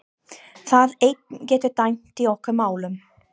Það eitt getur dæmt í okkar málum.